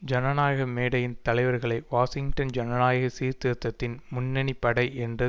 ஜனநாயக மேடையின் தலைவர்களை வாஷிங்டன் ஜனநாயக சீர்திருத்தத்தின் முன்னணிப்படை என்று